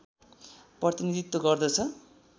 प्रतिनीधित्त्व गर्दछ